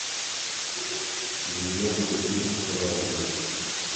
современные фильмы про войну